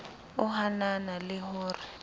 o hanana le ho re